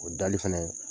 O dali fɛnɛ